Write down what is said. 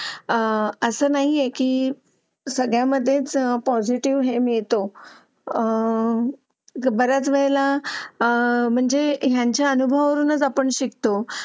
आह असं नाहीये की सगळ्यामध्ये पॉजिटिव हे मिळतो आह बराच वेळ ला आह म्हणजे ह्यांच्या अनुभवावरूनच आपण शिकतो